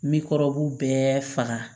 Mikɔrɔbu bɛɛ faga